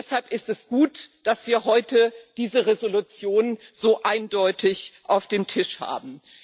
Deshalb ist es gut, dass wir heute diese Entschließung so eindeutig auf dem Tisch haben.